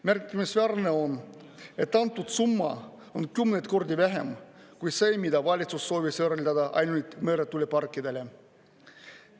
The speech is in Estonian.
Märkimisväärne on, et antud summa on kümneid kordi vähem kui see, mida valitsus soovis eraldada ainult meretuuleparkidele.